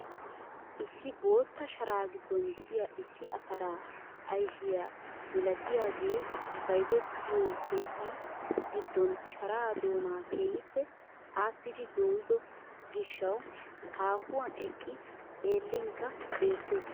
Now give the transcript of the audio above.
Issi bootta sharaa giddon de'iyaa issi ataraa ayfiyaa milatiyaage bayzzetiyoo keettan giddon sharaa doonaa keehippe aassidi doyido gishshawu haahuwaan eqqi xeellinkka beettees.